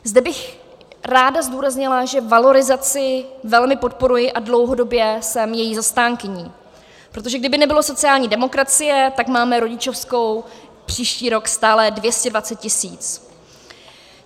Zde bych ráda zdůraznila, že valorizaci velmi podporuji a dlouhodobě jsem její zastánkyní, protože kdyby nebylo sociální demokracie, tak máme rodičovskou příští rok stále 220 tisíc.